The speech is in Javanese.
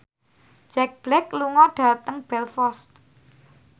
Jack Black lunga dhateng Belfast